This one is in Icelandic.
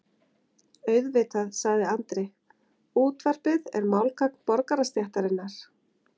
Auðvitað, sagði Andri, útvarpið er málgagn borgarastéttarinnar.